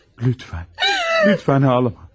Lütfən, lütfən ağlama.